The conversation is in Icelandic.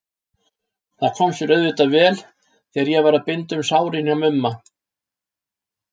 Það kom sér auðvitað vel þegar ég var að binda um sárin hjá Mumma.